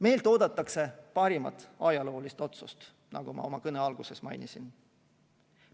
Meilt oodatakse parimat ajaloolist otsust, nagu ma oma kõne alguses mainisin.